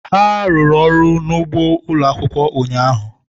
ha rụrụ ọrụ n'ugbo ụlọ akwụkwọ ụnyahụ.